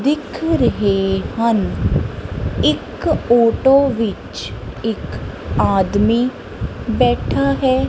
ਦਿੱਖ ਰਹੇ ਹਨ ਇੱਕ ਔਟੋ ਵਿੱਚ ਇੱਕ ਆਦਮੀ ਬੈਠਾ ਹੈ।